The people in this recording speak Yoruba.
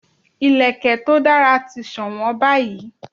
Ìlẹ̀kẹ̀ to dara ti sowon báyìí